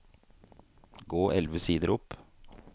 Gå elleve sider opp